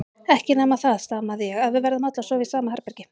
Ekki nema það, stamaði ég, að við verðum öll að sofa í sama herbergi.